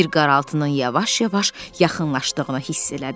Bir qaraltının yavaş-yavaş yaxınlaşdığını hiss elədi.